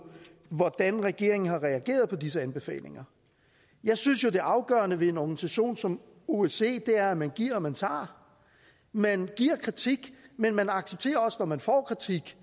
hvordan regeringen har reageret på disse anbefalinger jeg synes jo at det afgørende ved en organisation som osce er at man giver og man tager man giver kritik men man accepterer også når man får kritik